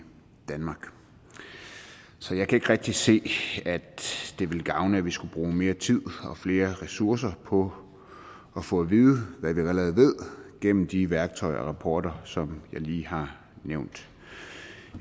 danmark så jeg kan ikke rigtig se at det ville gavne at vi skulle bruge mere tid og flere ressourcer på at få at vide hvad vi allerede ved gennem de værktøjer og rapporter som jeg lige har nævnt